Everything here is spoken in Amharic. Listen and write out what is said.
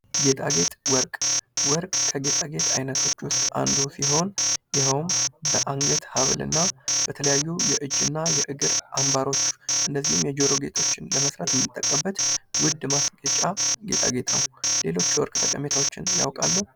ጌጣጌጥ ወርቅ ወርቅ ከጌታጣጌጥ አይነቶች ውስጥ አንዱ ሲሆን ይኸውም በአንገት ሀብል እና በተለያዩ የእጅ እና የእግር አምባሮች እንደዚሁም የጆሮ ጌጦችን ለመስራት የምንጠቀመው ጌጣጌጥ ነው። ሌሎች የወርቅ ጠቀሜታዎችን ያውቃሉ፡?